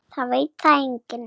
Það veit það enginn.